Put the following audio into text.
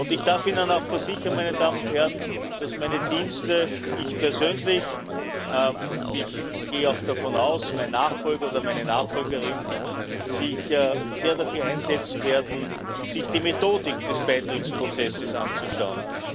Ich darf Ihnen auch versichern, meine Damen und Herren, dass meine Dienste ich persönlich, und, davon gehe ich auch aus, mein Nachfolger oder meine Nachfolgerin sich sehr dafür einsetzen werden, sich die Methodik des Beitrittsprozesses anzuschauen.